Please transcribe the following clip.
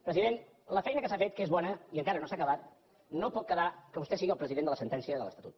president la feina que s’ha fet que és bona i encara no s’ha acabat no pot quedar amb què vostè sigui el president de la sentència de l’estatut